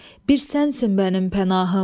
Bir sənsin mənim pənahım.